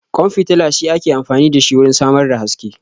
Ƙwan fitila shi ake amfani da shi wurin samar da haske